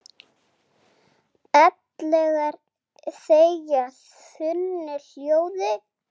Ellegar þegja þunnu hljóði?